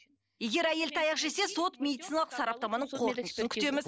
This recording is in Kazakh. егер әйел таяқ жесе сот медициналық сараптаманың қорытындысын күтеміз